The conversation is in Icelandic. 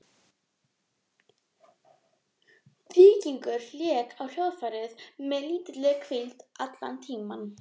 Víkingur lék á hljóðfærið með lítilli hvíld allan tímann.